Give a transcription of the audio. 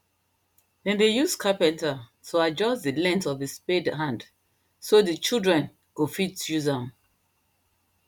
them dey use carpenter to adjust the length of the spade hand so the children go fit use am